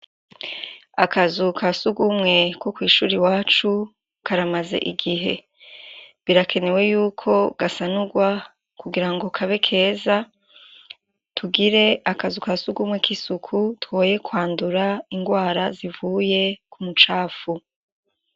Akazu kasugwumwe ko kw'ishuri iwacu karamaze igihe. Birakenewe yuko gasanurwa kugirango kabe keza tugire akazu kasugwumwe kisuku twoye kwandurra ingwara zivuye k'umucafu.